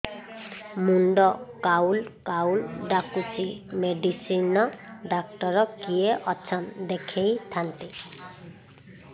ମୁଣ୍ଡ ଖାଉଲ୍ ଖାଉଲ୍ ଡାକୁଚି ମେଡିସିନ ଡାକ୍ତର କିଏ ଅଛନ୍ ଦେଖେଇ ଥାନ୍ତି